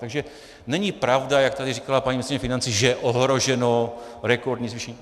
Takže není pravda, jak tady říkala paní ministryně financí, že je ohroženo rekordní zvýšení.